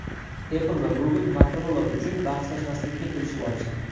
Apple va Google Motorola uchun bahslashmaslikka kelishib olishdi.